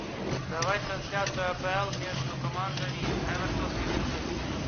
давай трансляцию апл между командами эвертон ливерпуль